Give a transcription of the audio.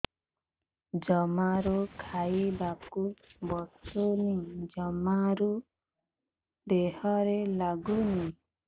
ଜମାରୁ ଖାଇବାକୁ ବସୁନି ଜମାରୁ ଦେହରେ ଲାଗୁନି